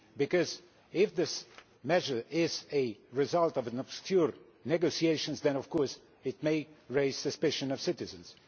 Because if this measure is a result of obscure negotiations then of course it may raise the suspicion of citizens.